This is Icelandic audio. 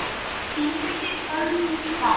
Geymið á köldum stað.